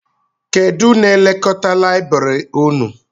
Kedụ n'elekọta layibiri ụnụ?